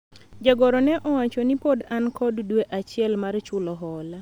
jagoro ne owacho ni pod an kod dwe achiel mar chulo hola